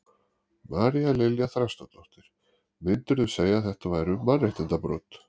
María Lilja Þrastardóttir: Myndirðu segja að þetta væru mannréttindabrot?